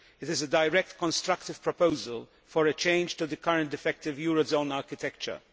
It is a direct constructive proposal for a change to the current effective euro zone architecture.